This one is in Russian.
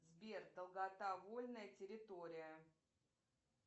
сбер долгота вольная территория